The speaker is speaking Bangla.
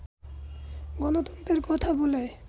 গণতন্ত্রের কথা বলে